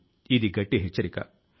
వాటి లో కొన్ని దేశీయ జాతులు ఉన్నాయి